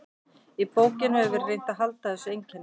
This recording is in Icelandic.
Í bókinni hefur verið reynt að halda þessu einkenni.